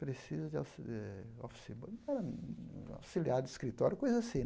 Precisa de auxili eh office boy era auxiliar de escritório, coisa assim.